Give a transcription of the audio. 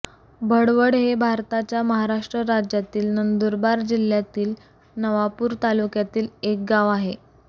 भडवड हे भारताच्या महाराष्ट्र राज्यातील नंदुरबार जिल्ह्यातील नवापूर तालुक्यातील एक गाव आहे